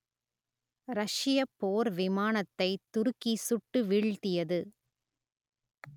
ரஷ்யப் போர் விமானத்தை துருக்கி சுட்டு வீழ்த்தியது